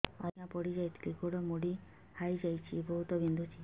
ଆଜ୍ଞା ପଡିଯାଇଥିଲି ଗୋଡ଼ ମୋଡ଼ି ହାଇଯାଇଛି ବହୁତ ବିନ୍ଧୁଛି